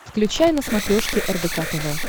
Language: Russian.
включай на смотрешке рбк тв